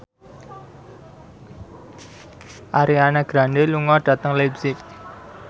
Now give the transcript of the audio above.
Ariana Grande lunga dhateng leipzig